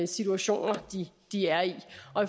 situation de er i i